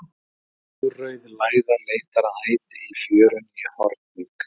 Mórauð læða leitar að æti í fjörunni í Hornvík.